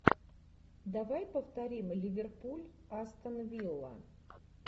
давай повторим ливерпуль астон вилла